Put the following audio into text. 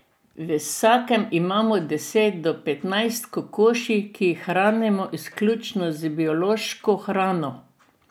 V vsakem imamo deset do petnajst kokoši, ki jih hranimo izključno z biološko hrano.